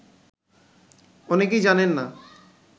অনেকেই জানেন না